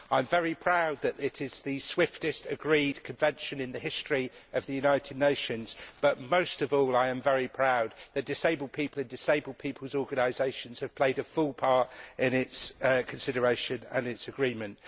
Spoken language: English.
I am very proud that it is the swiftest agreed convention in the history of the United Nations, but most of all I am very proud that disabled people and disabled people's organisations have played a full part in its consideration and its agreement.